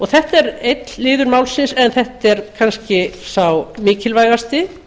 þetta er einn liður málsins en þetta er kannski sá mikilvægasti